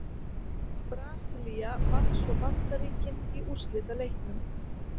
Brasilía vann svo Bandaríkin í úrslitaleiknum.